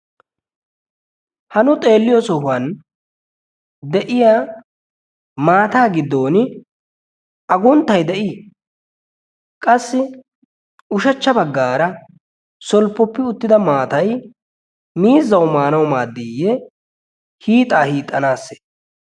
Ha nu xeelliyo sohuwan de'iya maataa giddon a gunttay de'ii? Qassi ushachcha baggaara solppoppi uttida maatay miizzau maanawu maaddiiyye hiixaa hiixxanaasse?